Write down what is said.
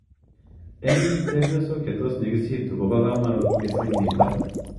Ing chepiosok chetos nyigistu ko pa kamanut mising nitok.